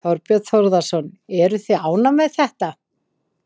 Þorbjörn Þórðarson: Eruð þið ánægð með þetta?